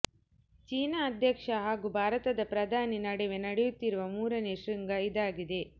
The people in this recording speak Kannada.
ಚೀನಾ ಅಧ್ಯಕ್ಷ ಹಾಗೂ ಭಾರತದ ಪ್ರಧಾನಿ ನಡುವೆ ನಡೆಯುತ್ತಿರುವ ಮೂರನೇ ಶೃಂಗ ಇದಾಗಿದೆ